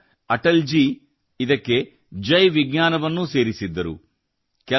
ನಂತರ ಅಟಲ್ ಜೀ ಇದಕ್ಕೆ ಜೈ ವಿಜ್ಞಾನವನ್ನೂ ಸೇರಿಸಿದ್ದರು